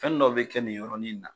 Fɛnnin dɔ bɛ kɛ nin yɔrɔnin in na